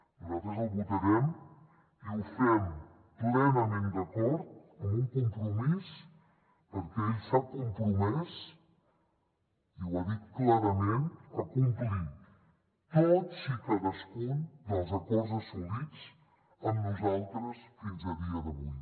nosaltres el votarem i ho fem plenament d’acord amb un compromís perquè ell s’ha compromès i ho ha dit clarament a complir tots i cadascun dels acords assolits amb nosaltres fins a dia d’avui